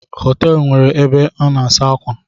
Họteelụ na enwe ebe a na-asa ákwà